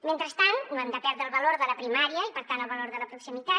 mentrestant no hem de perdre el valor de la primària i per tant el valor de la proximitat